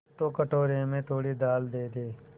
तो कटोरे में थोड़ी दाल दे दे